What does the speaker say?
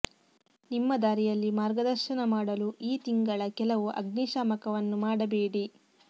ನಿಮ್ಮ ದಾರಿಯಲ್ಲಿ ಮಾರ್ಗದರ್ಶನ ಮಾಡಲು ಈ ತಿಂಗಳ ಕೆಲವು ಅಗ್ನಿಶಾಮಕವನ್ನು ಮಾಡಬೇಡಿ